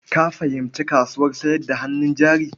Ka fahimci kasuwar sayar da hannun jari?